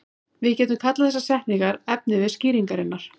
Við getum kallað þessar setningar efnivið skýringarinnar.